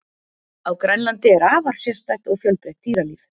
Á Grænlandi er afar sérstætt og fjölbreytt dýralíf.